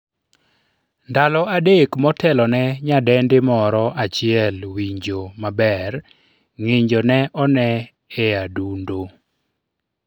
ndalo adek motelone nyadendi moro achiel winjo maber, ng'injo ne one e adundo